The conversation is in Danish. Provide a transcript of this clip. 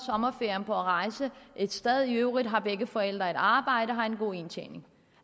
sommerferien på at rejse et sted hen i øvrigt har begge forældre et arbejde og har en god indtjening